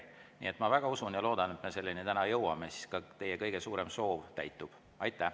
Nii et ma väga usun ja loodan, et me selleni täna jõuame, siis ka teie kõige suurem soov täitub.